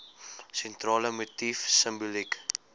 sentrale motief simboliek